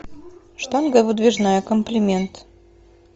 штанга выдвижная комплимент